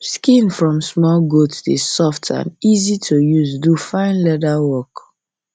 skin from small goat dey soft and easy to use do fine leather work